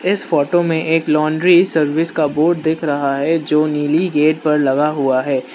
इस फोटो में एक लॉन्ड्री सर्विस का बोर्ड दिख रहा है जो नीली गेट पर लगा हुआ है।